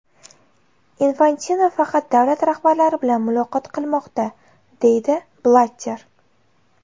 Infantino faqat davlat rahbarlari bilan muloqot qilmoqda”, deydi Blatter.